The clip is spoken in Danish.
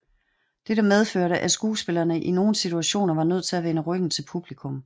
Det medførte at skuespillerne i nogen situationer var nødt til at vende ryggen til publikum